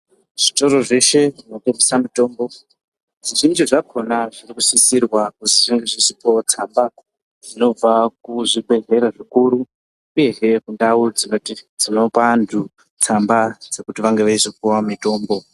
Zvitoro zveshe zvinotengesa mitombo zvizhinji zvakona zvinosisirwa kuti zvinge zvichipuwawo tsamba zvinobva kuzvibhedhlera zvikuru uyezve kundau dzinopa antu tsamba kuti vange veizopuwa mitombo.